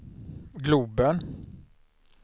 globen